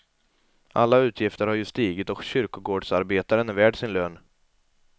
Alla utgifter har ju stigit och kyrkogårdsarbetaren är värd sin lön.